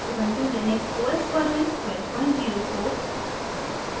ubuntu Linux os version 1204